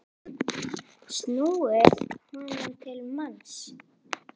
snúið honum til manns.